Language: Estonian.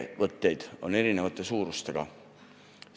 Ettevõtted on eri suurusega.